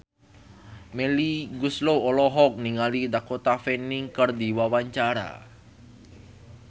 Melly Goeslaw olohok ningali Dakota Fanning keur diwawancara